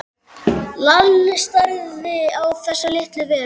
Lalli starði á þessa litlu veru.